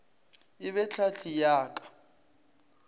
e be tlhahli ya ka